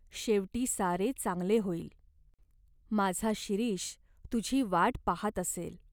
शेवटी सारे चांगले होईल. माझा शिरीष तुझी वाट पाहात असेल.